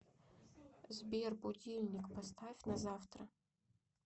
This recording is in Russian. сбер будильник поставь на завтра